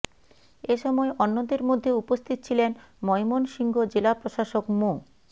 এ সময় অন্যদের মধ্যে উপস্থিত ছিলেন ময়মনসিংহ জেলা প্রশাসক মো